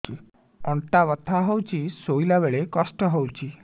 ଅଣ୍ଟା ବଥା ହଉଛି ଶୋଇଲା ବେଳେ କଷ୍ଟ ହଉଛି